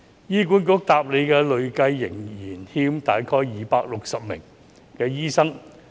醫管局回答累計仍欠大概260名醫生。